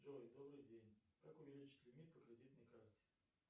джой добрый день как увеличить лимит по кредитной карте